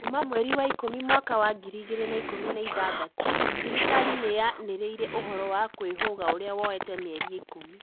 kuma mweri wa ikũmi mwaka wa ngiri igĩrĩ na ikũmi na ithathatũ, thirikari niyanĩrĩire uhoro wa kwĩhũga ũrĩa woete mĩerĩ ĩkumĩ